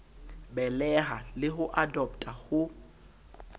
beleha le ho adoptha ho